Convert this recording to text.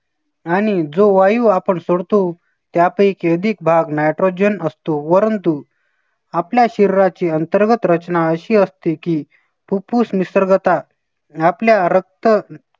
आणि जो वायू आपण सोडतो त्यापैकी अधिक भाग nitrogen असतो. परंतु आपल्या शरीराची अंतर्गत रचना अशी असते की फुफ्फुस निसर्गतः आपल्या रक्त